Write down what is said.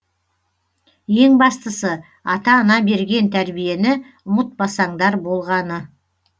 ең бастысы ата ана берген тәрбиені ұмытпасаңдар болғаны